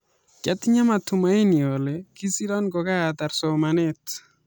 Kiatinyee matumaini ale kisira ko ka taar somaneet